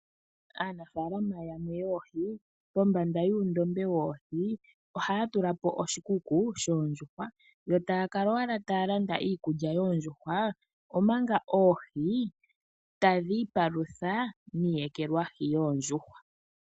Aanafalama yamwe yoohi pombanda yuundombe woohi ohaya tula po oshikuku shoondjuhwa yo taya kala owala taya landa iikulya yoondjuhwa omanga oohi tadhi ipalutha niiyekelwahi yoondjuhwa.